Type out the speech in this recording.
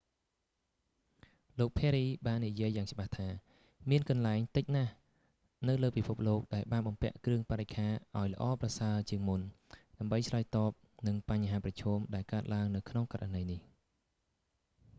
លោក perry ភារី បាននិយាយយ៉ាងច្បាស់ថា មានកន្លែងតិចណាស់នៅលើពិភពលោកដែលបានបំពាក់គ្រឿងបរិក្ខារឱ្យល្អប្រសើរជាងមុន ដើម្បីឆ្លើយតបនឹងបញ្ហាប្រឈម ដែលកើតឡើងនៅក្នុងករណីនេះ